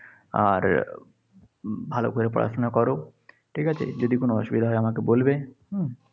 আর ভালো করে পড়াশোনা করো। ঠিক আছে। যদি কোনো অসুবিধা হয় আমাকে বলবে। হম